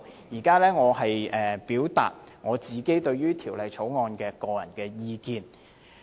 現在我表達對《條例草案》的個人意見。